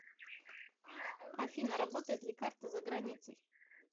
афина работает ли карта за границей